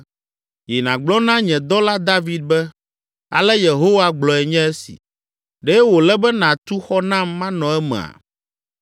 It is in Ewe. “Yi nàgblɔ na nye dɔla David be, ‘Ale Yehowa gblɔe nye esi: Ɖe wòle be nàtu xɔ nam manɔ emea?